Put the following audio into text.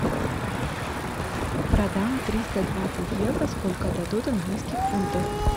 продам триста двадцать евро сколько дадут английских фунтов